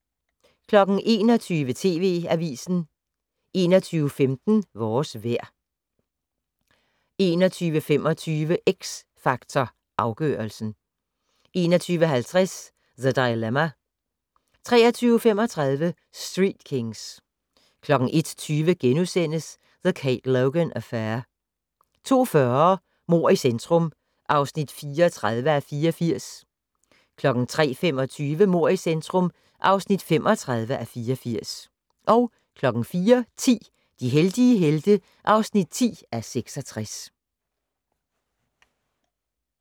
21:00: TV Avisen 21:15: Vores vejr 21:25: X Factor Afgørelsen 21:50: The Dilemma 23:35: Street Kings 01:20: The Kate Logan Affair * 02:40: Mord i centrum (34:84) 03:25: Mord i centrum (35:84) 04:10: De heldige helte (10:66)